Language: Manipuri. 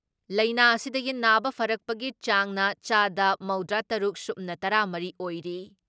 ꯂꯥꯏꯅꯥꯥ ꯑꯁꯤꯗꯒꯤ ꯅꯥꯕ ꯐꯔꯛꯄꯒꯤ ꯆꯥꯡꯅ ꯆꯥꯗ ꯃꯧꯗ꯭ꯔꯤ ꯇꯔꯨꯛ ꯁꯨꯞꯅ ꯇꯔꯥ ꯃꯔꯤ ꯑꯣꯏꯔꯤ ꯫